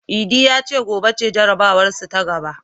Idi ya ce gobe ce jarabawarsu ta gaba.